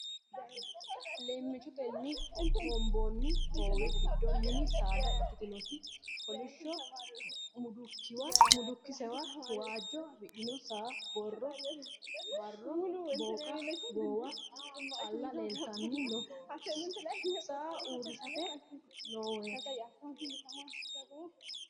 Leemmichotenni hoomboonni hoowe giddo mini saada ikkitinoti kolishsho mudukkisewa waajjo afidhino saanna barro booqa goowa calla leeltanni noo saa usurante noowaati.